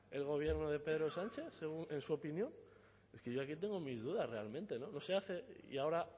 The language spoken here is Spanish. el gobierno de pedro sánchez en su opinión que yo aquí tengo mis dudas realmente no se hace y ahora